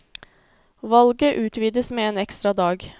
Valget utvides med en ekstra dag.